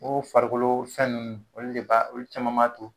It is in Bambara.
O farikolo fɛn nunnu , olu de ba olu caman ba to